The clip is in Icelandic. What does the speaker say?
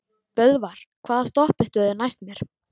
Böðvar, hvaða stoppistöð er næst mér?